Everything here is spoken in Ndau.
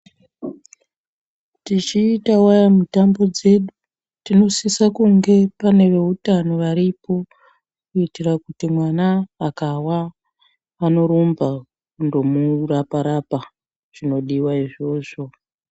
Tichiitawe mutambo dzedu tinosisa kunge pane veutano varipo kuitira kuti mwana akawa anorumba kundomurapa rapa zvinodiwa izvozvo